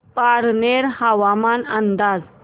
पारनेर हवामान अंदाज